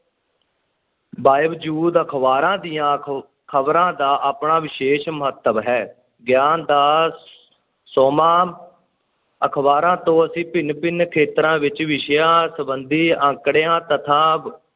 ਬਾਵਜੂਦ ਅਖ਼ਬਾਰਾਂ ਦੀਆਂ ਖ~ ਖ਼ਬਰਾਂ ਦਾ ਆਪਣਾ ਵਿਸ਼ੇਸ਼ ਮਹੱਤਵ ਹੈ, ਗਿਆਨ ਦਾ ਸੋਮਾ ਅਖ਼ਬਾਰਾਂ ਤੋਂ ਅਸੀਂ ਭਿੰਨ-ਭਿੰਨ ਖੇਤਰਾਂ ਵਿੱਚ ਵਿਸ਼ਿਆਂ ਸੰਬੰਧੀ ਅੰਕੜਿਆਂ, ਤੱਥਾਂ,